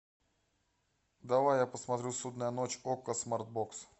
давай я посмотрю судная ночь окко смарт бокс